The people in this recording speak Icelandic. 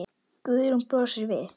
Guðrún brosir við.